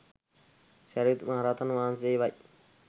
සැරියුත් මහරහතන් වහන්සේවයි.